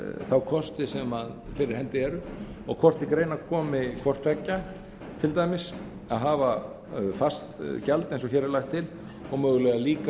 þá kosti sem fyrir hendi eru og hvort til greina komi til dæmis hvort tveggja að hafa fast gjald eins og hér er lagt til og mögulega líka